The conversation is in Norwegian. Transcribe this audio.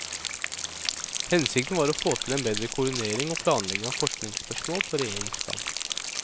Hensikten var å å få til en bedre koordinering og planlegging av forskningsspørsmål på regjeringsplan.